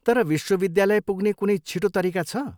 तर विश्वविद्यालय पुग्ने कुनै छिटो तरिका छ?